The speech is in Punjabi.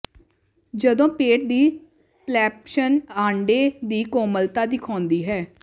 ਜਦੋਂ ਪੇਟ ਦੀ ਪਲੈਂਪਸ਼ਨ ਆਂਡੇ ਦੀ ਕੋਮਲਤਾ ਦਿਖਾਉਂਦੀ ਹੈ